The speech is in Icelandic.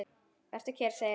Vertu kyrr, segir hún.